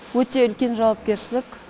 өте үлкен жауапкершілік